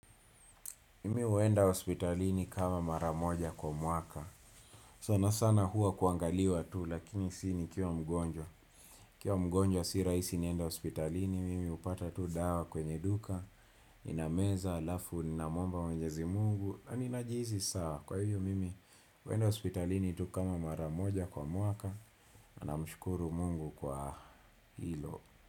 Mimi huenda hospitalini kama maramoja kwa mwaka. Sana sana huwa kuangaliwa tu lakini si ni kiwa mgonjwa. Nikiwa mgonjwa si raisi nienda hospitalini. Mimi hupata tu dawa kwenye duka. Ninameza alafu na muomba mwenyezi mungu. Na ninajihisi sawa kwa hivyo mimi huenda hospitalini tu kama maramoja kwa mwaka. Namshukuru Mungu kwa hilo.